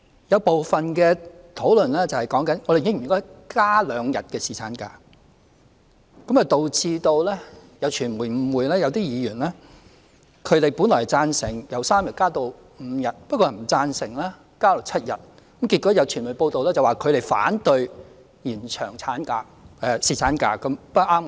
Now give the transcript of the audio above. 有部分議員談論到應否增加兩天侍產假，導致有傳媒誤會某些議員，他們本來贊成侍產假由3天增至5天，但不贊成增至7天，結果有傳媒報道指他們反對延長侍產假。